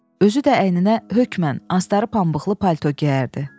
Özü də əyninə hökmən astarlı pambıqlı palto geyərdi.